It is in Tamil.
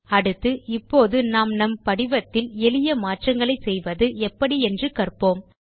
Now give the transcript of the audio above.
அடுத்து இப்போது நாம் நம் படிவத்தில் எளிய மாற்றங்களை செய்வது எப்படி என்று கற்போம்